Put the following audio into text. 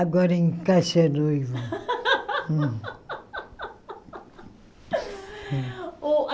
Agora encaixa a noiva.